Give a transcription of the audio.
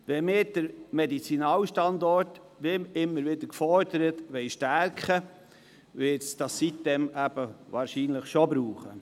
Wenn wir den Medizinalstandort, wie immer wieder gefordert, stärken wollen, wird es sitem-insel wahrscheinlich brauchen.